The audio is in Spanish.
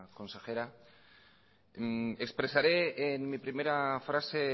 consejera expresaré en mi primera frase